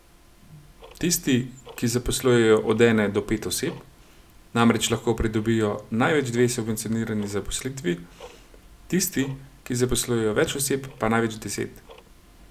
Tisti, ki zaposlujejo od ene do pet oseb, namreč lahko pridobijo največ dve subvencionirani zaposlitvi, tisti, ki zaposlujejo več oseb, pa največ deset.